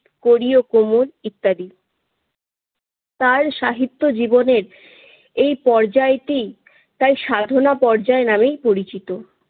কড়ি ও কোমল ইত্যাদি। তার সাহিত্য জীবনের এই পর্যায়টি তার সাধনা পর্যায় নামে পরিচিত।